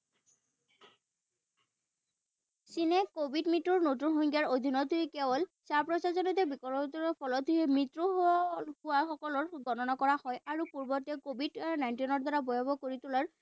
চীনে কভিড মৃত্যুৰ নতুন সংজ্ঞাৰ অধীনতেই কেৱল ফলতহে মৃত্যু হোৱা হোৱাসকলৰ গণনা কৰা হয়। আৰু পূৰ্বতে COVID nineteen ৰ দ্বাৰা ভয়াবহ কৰি তোলাৰ